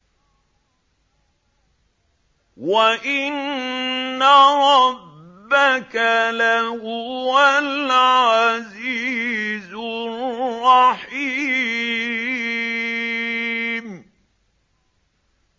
وَإِنَّ رَبَّكَ لَهُوَ الْعَزِيزُ الرَّحِيمُ